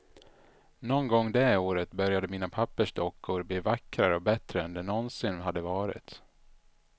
Någon gång det året började mina pappersdockor bli vackrare och bättre än de nånsin hade varit.